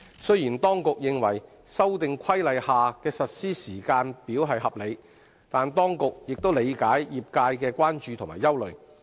雖然當局認為《修訂規例》下的實施時間表合理，但當局亦理解業界的關注和憂慮。